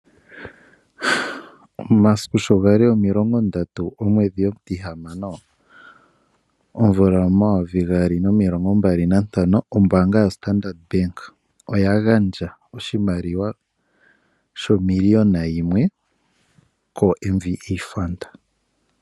Omasiku sho ga li omilongo ndatu gomwedhi omutihamano omvula omayovi gaali omilongo mbali nantano, ombaanga yoStandard Bank oya gandja oshimaliwa shomiliyona yimwe KoMVA FUND.